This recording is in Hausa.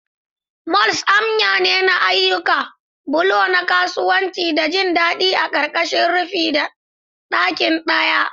Malls amya ne na ayyuka, bulo na kasuwanci da jin daɗi a ƙarƙashin rufin ɗaki ɗaya.